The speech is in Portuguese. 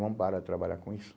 Vamos parar de trabalhar com isso.